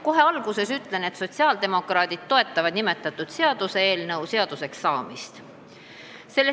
Kohe alguses ütlen, et sotsiaaldemokraadid toetavad selle eelnõu seaduseks saamist.